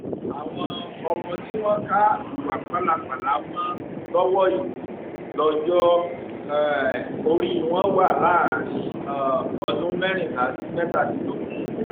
àwọn ọmọ tí wọn ka ìwà pálapàla mọ lọwọ yìí lọjọ um orí wọn wà láàrin um ọdún mẹrìnlá sí mẹtàdínlógún